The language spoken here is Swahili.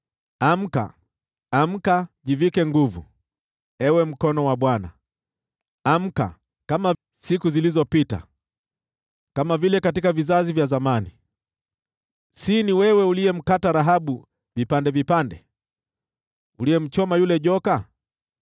Amka, Amka! Jivike nguvu, ewe mkono wa Bwana , Amka, kama siku zilizopita, kama vile vizazi vya zamani. Si ni wewe uliyemkata Rahabu vipande vipande, uliyemchoma yule joka?